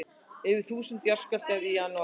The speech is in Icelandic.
Yfir þúsund jarðskjálftar í janúar